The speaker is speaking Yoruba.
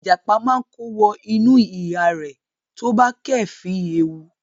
Ìjàpá máa kó wọ inú ihá rẹ̀ tí ó bá kéèéfín ewu.